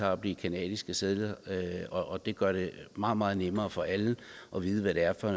har på de canadiske sedler det gør det meget meget nemmere for alle at vide hvad det er for